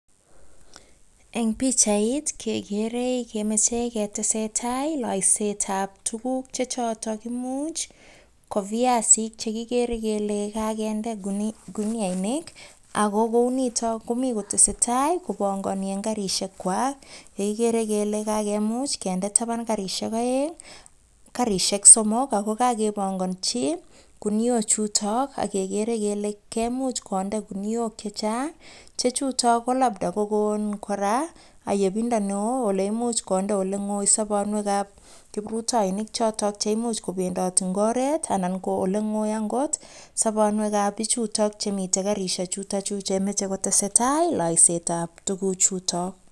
Eng pichait kekere, kemitei ketesetai boishetab tukuk che chotok imuch ko viasik, chekigere kele kakende kuniainik ako kou nitok komi kotese tai kopongoni eng karishek . Ni kigere kele kakimuch kinde taban karishek oeng, somok ako kakeponganchi kuniok chutok ak kekere kele kemuch konde kuniok che chang, che chutok ko.uch kokon kabda ayepindo neo nemuch konde olengoi sobonwek ab kiprutoinik chotok che imuch kobendoti eng oret anan konde olengoi akot sobonwekab pichutok chemitei karishek chutok chetese tai ak loisetab tuku chutok.